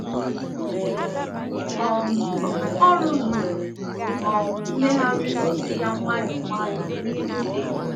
um Ọ rụzuru um mmegharị ngosi ya nwayọ nwayọ n’ihu enyo.